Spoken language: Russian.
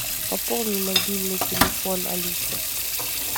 пополни мобильный телефон алисы